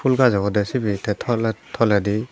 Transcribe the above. phool gaj obode sibey te tolep toledi.